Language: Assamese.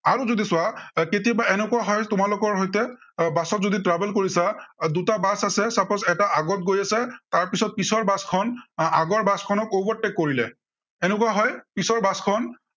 যদি চোৱা কেতিয়াবা এৰ এনেকুৱা হয়, তোমালোকৰ সৈতে, আহ বাছত যদি travel কৰিছা, দুটা বাছ আছে, suppose এটা আগত গৈ আছে, তাৰপিছত পিছৰ বাছখন আহ আগৰ বাছখনক overtake কৰিলে। সেনেকুৱা হয়, পিছৰ বাছখন আৰু যদি